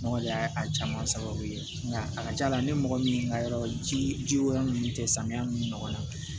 Ne kɔni y'a a caman sababu ye nka a ka ca la ne mɔgɔ min ka yɔrɔ jiko yɔrɔ minnu tɛ samiya min ɲɔgɔn na